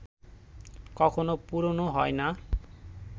কখনো পুরোনো হয় না